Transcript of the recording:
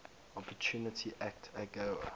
opportunity act agoa